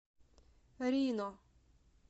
рино